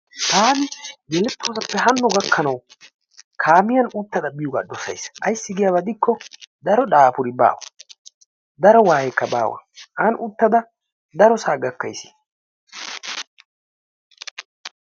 Taani yelettoosappe haanno gakkanwu kaamiyaan uttada biyoogaa dosays. Ayssi giyaaba gidikko daro daapuri baa. daro wayeekka baawa. an uttada darosaa gakkays.